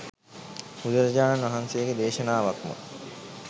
බුදුරජාණන් වහන්සේගේ දේශනාවක්ම